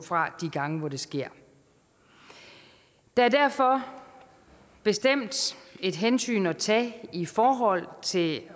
fra de gange hvor det sker der er derfor bestemt et hensyn at tage i forhold til